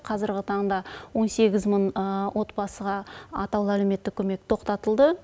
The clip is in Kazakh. қазіргі таңда он сегіз мың отбасыға атаулы әлеуметтік көмек тоқтатылды